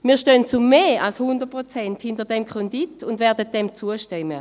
Wir stehen zu mehr als 100 Prozent hinter diesem Kredit und werden diesem zustimmen.